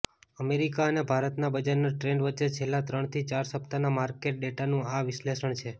America અને ભારતના બજારના ટ્રેન્ડ વચ્ચે છેલ્લાં ત્રણથી ચાર સપ્તાહના માર્કેટ ડેટાનું આ વિશ્લેષણ છે